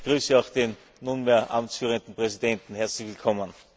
Ich begrüße auch den nunmehr amtsführenden Präsidenten, herzlich willkommen!